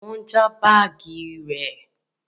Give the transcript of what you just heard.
Wọn jí baagi rẹ